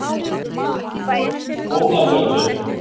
Skólagötu